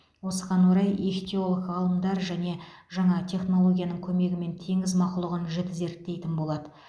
осыған орай ихтиолог ғалымдар және жаңа технологияның көмегімен теңіз мақұлығын жіті зерттейтін болады